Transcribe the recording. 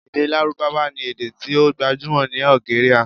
Ede Larubawa ni ede ti o gbajumo ni Algeria